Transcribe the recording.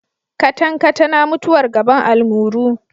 Katankatana mutuwar gaban almuru.